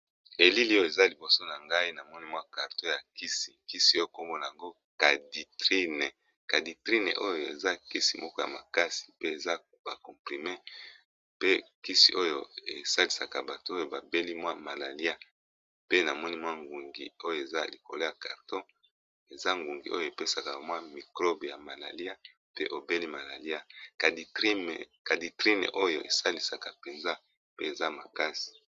Elili oyo eza liboso na ngai na monimwa karto ya kisi kisi okomona yango caditrine oyo eza kisi moko ya makasi pe eza bacomprime pe kisi oyo esalisaka bato oyo babeli mwa malalia pe na monimwa ngungi oyo eza likolo ya carto eza ngungi oyo epesaka bamwa mikrobe ya malalia pe obeli malalia caditrine oyo esalisaka mpenza pe eza makasi.